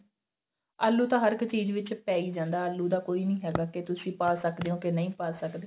ਆਲੂ ਤਾਂ ਹਰ ਇੱਕ ਚੀਜ਼ ਵਿੱਚ ਪੈ ਈ ਜਾਂਦਾ ਆਲੂ ਦਾ ਕੋਈ ਨਹੀਂ ਹੈਗਾ ਕੀ ਤੁਸੀਂ ਪਾ ਸਕਦੇ ਓ ਕੇ ਨਹੀਂ ਪਾ ਸਕਦੇ